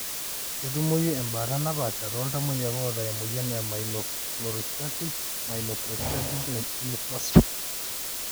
ketumoyu embaata napasha toltamoyiak oata emoyian e myeloproliferative/myeloproliferative neoplasms.